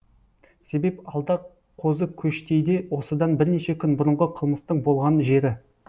себеп алда қозыкөштейде осыдан бірнеше күн бұрынғы қылмыстың болған жері